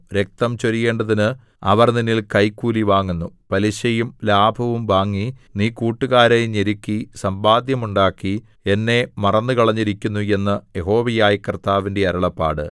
രക്തം ചൊരിയേണ്ടതിന് അവർ നിന്നിൽ കൈക്കൂലി വാങ്ങുന്നു പലിശയും ലാഭവും വാങ്ങി നീ കൂട്ടുകാരെ ഞെരുക്കി സമ്പാദ്യമുണ്ടാക്കി എന്നെ മറന്നുകളഞ്ഞിരിക്കുന്നു എന്ന് യഹോവയായ കർത്താവിന്റെ അരുളപ്പാട്